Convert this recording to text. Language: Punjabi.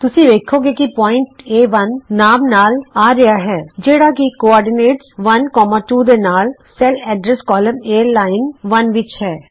ਤੁਸੀਂ ਵੇਖੋਗੇ ਕਿ ਬਿੰਦੂ ਏ1 ਨਾਮ ਨਾਲ ਆ ਰਿਹਾ ਹੈ ਜਿਹੜਾ ਕਿ ਧੁਰੇ 12 ਦੇ ਨਾਲ cell address column A line 1 ਵਿਚ ਹੈ